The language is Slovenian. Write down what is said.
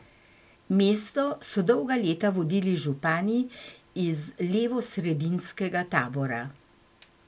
Mesto so dolga leta vodili župani iz levosredinskega tabora.